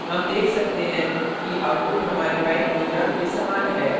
हम देख सकते हैं कि output हमारे while program के समान है